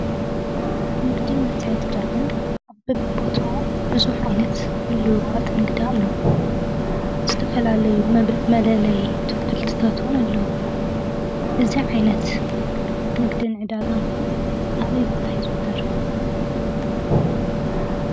ንግድን መትዕ ድዳ ግን ኣብቦት ብዙኅ ዓይነት ምልዋጥ ንግዳ ኣሎ ዝተፈላለዩ ብእ መደለይ ትውክልትታትወን ኣለዉዎ እዚ ዓይነት ንግድን ዕዳጋምካ ኣበይ ቦታ ይ ዘውተር።